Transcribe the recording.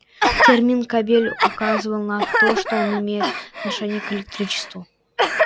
термин кабель указывал на то что он имеет отношение к электричеству